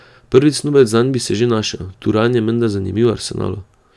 Prvi snubec zanj naj bi se že našel, Turan je menda zanimiv Arsenalu.